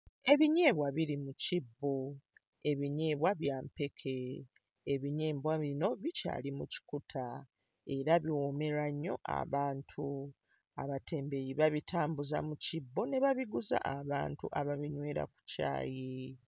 Ebinyeebwa biri mu kibbo. Ebinyeebwa bya mpeke. Ebinyeebwa bino bikyali mu kikuta era biwoomera nnyo abantu. Abatembeeyi babitambuza mu kibbo ne babiguza abantu ababinywera ku caayi.